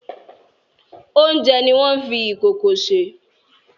Oúnjẹ ni wọ́n fi ìkòkò sè.